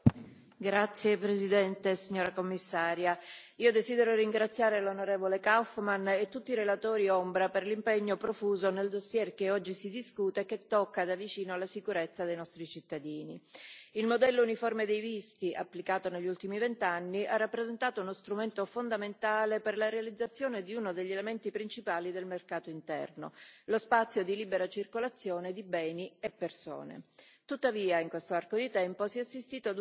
Signora Presidente, onorevoli colleghi, Commissario, desidero ringraziare l'onorevole Kaufmann e tutti i relatori ombra per l'impegno profuso nel dossier che oggi si discute e che tocca da vicino la sicurezza dei nostri cittadini. Il modello uniforme dei visti applicato negli ultimi vent'anni ha rappresentato uno strumento fondamentale per la realizzazione di uno degli elementi principali del mercato interno lo spazio di libera circolazione di beni e persone.